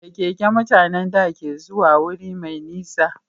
Da keke mutanen da ke zuwa guri mai nisa